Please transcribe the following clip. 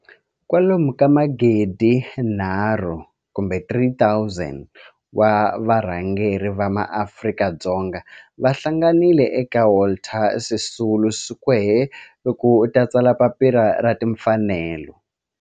Kalomu ka magidi nharhu kumbe 3 000 wa varhangeri va maAfrika-Dzonga va hlanganile eka Walter Sisulu Square ku ta tsala Papila ra Timfanelo.